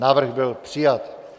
Návrh byl přijat.